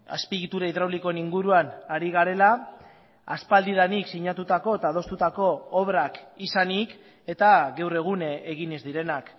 azpiegitura hidraulikoen inguruan ari garela aspaldidanik sinatutako eta adostutako obrak izanik eta gaur egun egin ez direnak